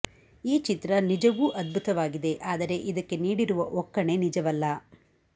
ಈ ಚಿತ್ರ ನಿಜವೂ ಅದ್ಭುತವಾಗಿದೆ ಆದರೆ ಇದಕ್ಕೆ ನೀಡಿರುವ ಒಕ್ಕಣೆ ನಿಜವಲ್ಲ